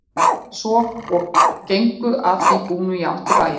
Gerðu þeir svo og gengu að því búnu í átt til bæjar.